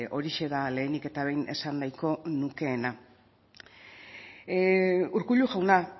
horixe da lehenik eta behin esan nahiko nukeena urkullu jauna